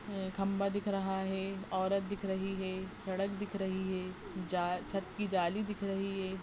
अ खंबा दिख रहा है औरत दिख रही है सडक दिख रही है जा छत कि जाली दिख रही है।